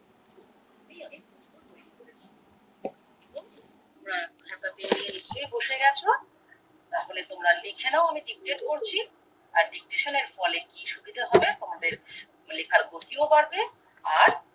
তুমি বসে গেছো তাহলে তোমরা লিখে নাও আমি জিজ্ঞেস করছি আর ফলে কি সুবিধে হয় তোমাদের লেখার গতি ও বাড়বে আর